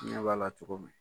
N ɲɛ b'a la cogo min.